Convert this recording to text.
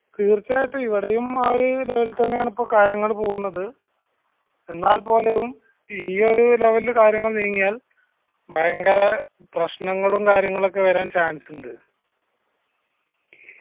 തീർച്ചയായിട്ടും ഇവിടെയും ആ ഒരു level തന്നെയാണ് കാര്യങ്ങൾ പോകുന്നത് എന്നാൽ പോലും ഈ ഒരു level ൽ കാര്യങ്ങൾ നീങ്ങിയാൽ ഭയങ്കര പ്രശ്നങ്ങളും കാര്യങ്ങളൊക്കെ വരാൻ chance ഇണ്ട്